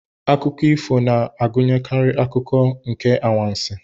Akụkọ ifo na-agụnyekarị akụkụ nke anwansi.